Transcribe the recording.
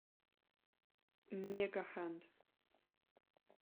мегахенд